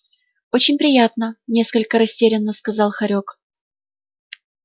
очень приятно несколько растерянно сказал хорёк